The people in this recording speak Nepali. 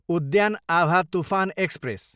उद्यान आभा तुफान एक्सप्रेस